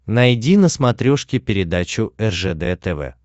найди на смотрешке передачу ржд тв